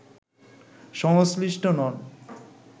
সংশ্লিষ্ট নন